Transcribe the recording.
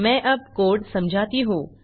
मैं अब कोड समझाती हूँ